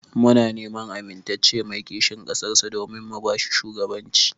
Muna neman amintacce mai kishin ƙasar sa domin mu bashi shugaban ci.